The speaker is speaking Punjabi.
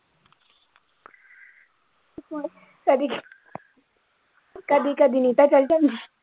ਕਦੀ ਕਦੀ ਕਦੀ ਨੀਟਾ ਚਲ ਜਾਂਦਾ।